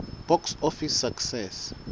box office success